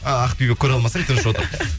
ааа ақбибі көреалмасаң тыныш отыр